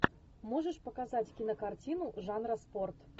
можешь показать кинокартину жанра спорт